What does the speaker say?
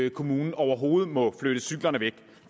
en kommune overhovedet må flytte cyklerne væk